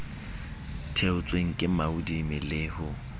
theotsweng ke moadimi le ho